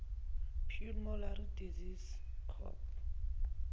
pulmonary disease copd